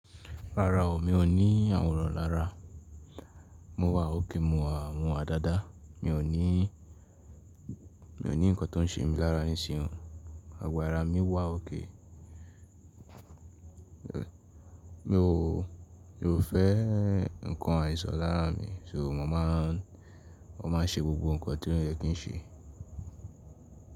Rárá o, mi ò ní àwòrán lára, mo wà ókè mo wà mọ adada, mi ò ní, mi ò ní nǹkan tó ń ṣe mí lára nísinyí, gbogbo àrá mi wà ókè, mi ò, mi ò fẹ́ nǹkan àìsàn lára mi, só ma ń, mo má ń ṣe gbogbo nǹkan to yẹ kí ń ṣe.